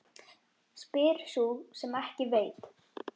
Spyr sú sem ekki veit.